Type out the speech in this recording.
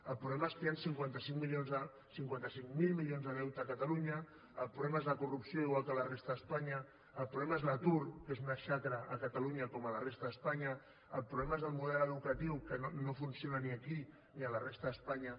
el problema és que hi han cinquanta cinc mil milions de deute a catalunya el problema és la corrupció igual que a la resta d’espanya el problema és l’atur que és una xacra a catalunya com a la resta d’espanya el problema és el model educatiu que no funciona ni aquí ni a la resta d’espanya